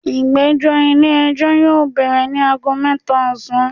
Igbẹjọ ile-ẹjọ yoo bẹrẹ ni aago mẹta osan